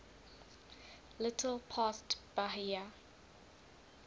little past bahia